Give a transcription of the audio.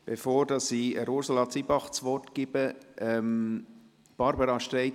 Bevor ich Ursula Zybach das Wort gebe, gebe ich es Barbara Streit.